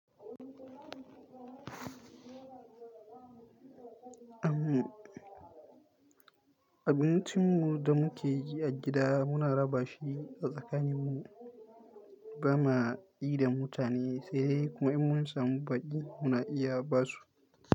Abincin mu da muke yi a gida muna raba shi a tsakanin mu, ba ma yi da mutane sai dai kuma in mun samu baki muna iya basu.